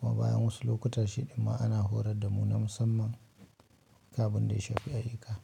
Kuma bayan wasu lokutan shiɗin ma ana horar da mu na musamman. Duk abin da ya shafi ayyuka.